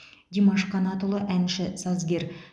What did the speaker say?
димаш қанатұлы әнші сазгер